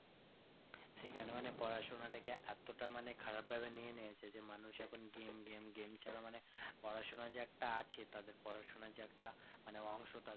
সেখানেও অনিক পড়াশোনা টাকে এতটা মানে খারাপ ভাবে নিয়ে নিয়েছে যে মানুষ এখন game game game ছাড়া মানে পড়াশোনা যে একটা আছে তাদের পড়াশোনা যে একটা অংশ